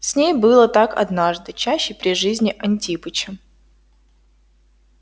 с ней было так однажды чаще при жизни антипыча